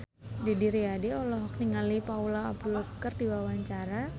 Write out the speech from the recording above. Didi Riyadi olohok ningali Paula Abdul keur diwawancara